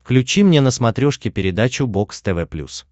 включи мне на смотрешке передачу бокс тв плюс